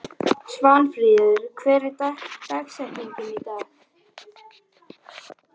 Svanfríður, hver er dagsetningin í dag?